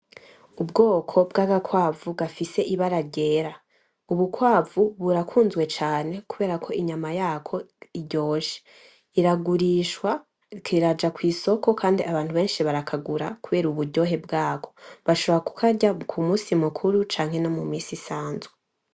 Ubwoko bw'Agakwavu gafise ibara ryera. Ubukwavu burakunzwe cane kuberako inyama yako iryoshe iragurishwa iraja kwisoko Kandi Abantu benshi barakagura kubera uburyohe bwako, bashobora kukarya kumusi mukuru canke no mumisi isanzwe.